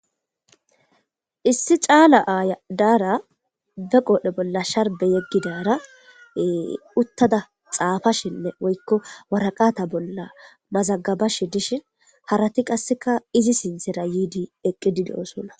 Issi caala aya dara ba qoodhdhe bolla sharbbe yegada waraqata bolla xafashshe woyikko mazagabashshe dizayissa besses harati qase izi sinthara eqidi doosona